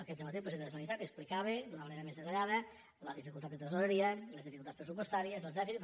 aquest dematí el president de la generalitat explicava d’una manera més detallada la dificultat de tresoreria les dificultats pressupostàries els dèficits